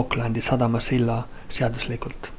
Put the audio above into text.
aucklandi sadama silla seaduslikult